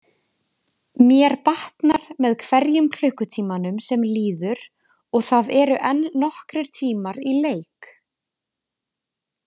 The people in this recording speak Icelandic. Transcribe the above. Mér batnar með hverjum klukkutímanum sem líður og það eru enn nokkrir tímar í leik.